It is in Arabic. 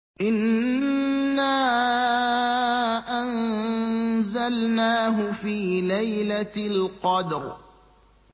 إِنَّا أَنزَلْنَاهُ فِي لَيْلَةِ الْقَدْرِ